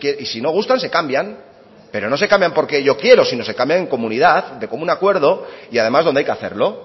y si no gustan se cambian pero no se cambian porque yo quiero sino se cambian en comunidad de común acuerdo y además donde hay que hacerlo